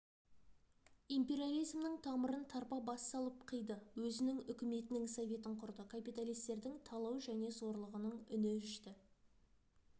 империализмнің тамырын тарпа бас салып қиды өзінің үкіметінің советін құрды капиталистердің талау және зорлығының үні өшті